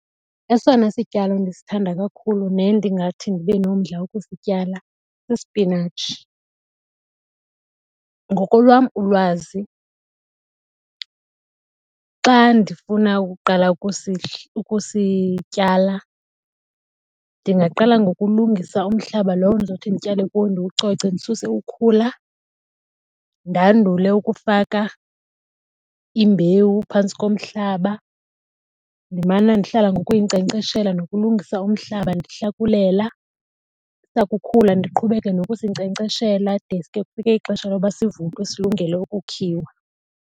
Esona sityalo ndisithanda kakhulu nendingathi ndibe nomdla wokusityala sispinatshi. Ngokolwam ulwazi xa ndifuna ukuqala ukusityala ndingaqala ngokulungisa umhlaba lo ndizothi ndityale kuwo ndiwucoce ndisuse ukhula, ndandule ukufaka imbewu phantsi komhlaba. Ndimana ndihlala ngokuyinkcenkceshela nokulungisa umhlaba ndihlakulela. Sakukhula ndiqhubeke nokusinkcenkceshela de ske kufike ixesha loba sivuthwe silungele ukukhiwa.